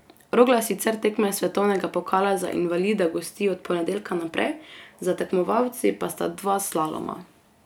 Rogla sicer tekme svetovnega pokala za invalide gosti od ponedeljka naprej, za tekmovalci pa sta dva slaloma.